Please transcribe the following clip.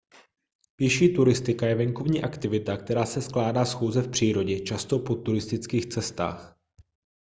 pěší turistika je venkovní aktivita která se skládá z chůze v přírodě často po turistických cestách